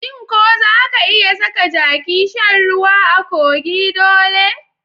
Shin ko zaka iya saka jaki shan ruwa a kogi dole?